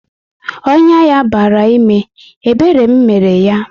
Ọnyá ya bara ime, ebere m mere yá